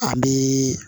An bi